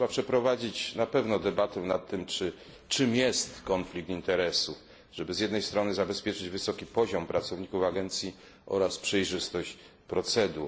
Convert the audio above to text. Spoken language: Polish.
Trzeba przeprowadzić na pewno debatę nad tym, czym jest konflikt interesów, żeby z jednej strony zabezpieczyć wysoki poziom pracowników agencji, a z drugiej przejrzystość procedur.